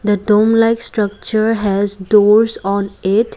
the told like structure has doors on it.